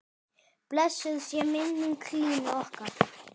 Blessuð sé minning Línu okkar.